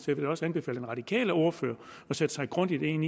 vil da også anbefale den radikale ordfører at sætte sig grundigt ind